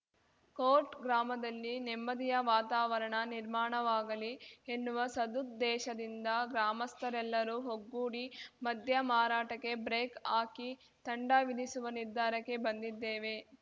coat ಗ್ರಾಮದಲ್ಲಿ ನೆಮ್ಮದಿಯ ವಾತಾವರಣ ನಿರ್ಮಾಣವಾಗಲಿ ಎನ್ನುವ ಸದುದ್ದೇಶದಿಂದ ಗ್ರಾಮಸ್ಥರೆಲ್ಲರೂ ಒಗ್ಗೂಡಿ ಮದ್ಯ ಮಾರಾಟಕ್ಕೆ ಬ್ರೇಕ್‌ ಹಾಕಿ ತಂಡ ವಿಧಿಸುವ ನಿರ್ಧಾರಕ್ಕೆ ಬಂದಿದ್ದೇವೆ